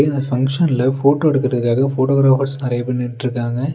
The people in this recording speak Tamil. இந்த ஃபங்ஷன்ல போட்டோ எடுக்குறதுக்காக போட்டோகிராபர்ஸ் நெறைய பேர் நின்ட்ருக்காங்க.